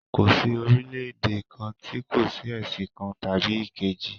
Kò sí orílẹ̀-èdè kan tí kò ní ẹ̀sìn kan tàbí èkejì.